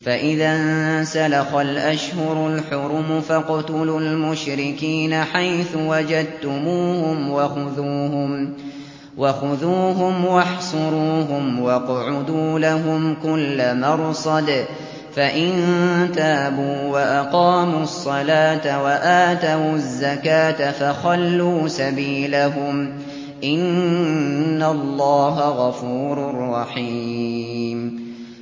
فَإِذَا انسَلَخَ الْأَشْهُرُ الْحُرُمُ فَاقْتُلُوا الْمُشْرِكِينَ حَيْثُ وَجَدتُّمُوهُمْ وَخُذُوهُمْ وَاحْصُرُوهُمْ وَاقْعُدُوا لَهُمْ كُلَّ مَرْصَدٍ ۚ فَإِن تَابُوا وَأَقَامُوا الصَّلَاةَ وَآتَوُا الزَّكَاةَ فَخَلُّوا سَبِيلَهُمْ ۚ إِنَّ اللَّهَ غَفُورٌ رَّحِيمٌ